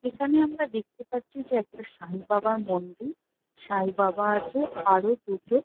এখানে আমরা দেখতে পাচ্ছি যে একটা সাই বাবার মন্দির সাই বাবা আছে আরো দুটো--